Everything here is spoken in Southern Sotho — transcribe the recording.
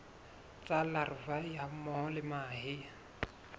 tsa larvae hammoho le mahe